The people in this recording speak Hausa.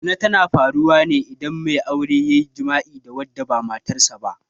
Zina tana faruwa ne idan mai aure ya yi jima'i da wata ba matar aure ba.